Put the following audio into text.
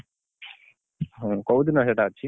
ହଁ କୋଉଦିନ ସେଇଟା ଅଛି?